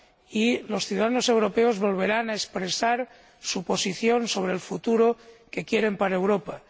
y que los ciudadanos europeos volverán a expresar su posición sobre el futuro que quieren para Europa.